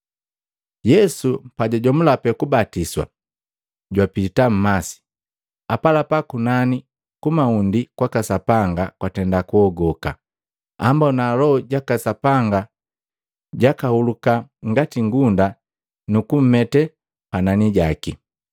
Yesu pajajomula pee kubatiswa, jwapita mmasi. Apalapa kunani ku mahundi kwaka Sapanga kwatenda kuhogoka, ambona Loho jaka Sapanga jakahuluka ngati ngunda nu kumete panani jaki.